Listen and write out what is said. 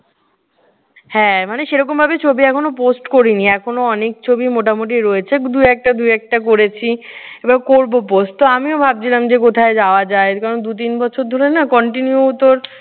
হ্যাঁ মানে সেই রকমভাবে ছবি এখনো post করিনি। এখনো অনেক ছবি মোটামুটি রয়েছে দু একটা দু একটা করেছি। এইবার করবো post তো আমিও ভাবছিলাম যে কোথায় যাওয়া যায়। কারণ দুই তিন বছর ধরে না continue তোর